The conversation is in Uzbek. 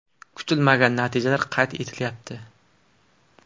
Kutilmagan natijalar qayd etilyapti.